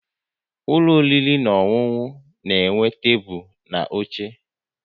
Ụlọ oriri na ọṅụṅụ na-enwe tebụl na oche